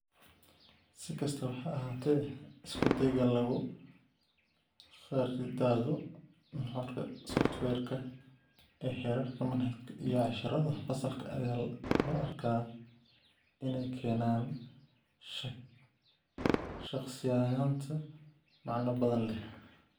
Si kastaba ha ahaatee, isku dayga lagu khariidado nuxurka softiweerka ee heerarka manhajka iyo casharrada fasalka ayaa loo arkaa inay keenaan shakhsiyaynta macno badan leh.